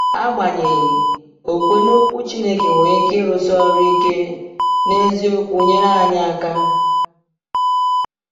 Agbanyeghị, okwukwe n’Okwu Chineke nwere ike ịrụsi ọrụ ike n’eziokwu nyere anyị aka.